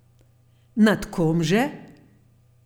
Nad kom že?